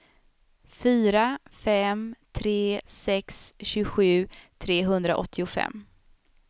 fyra fem tre sex tjugosju trehundraåttiofem